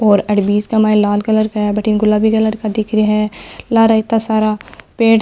और अड़ बीच के माय लाल कलर का है अठन गुलाबी कलर का दिख रहा है लार इतना सारा पेड़ --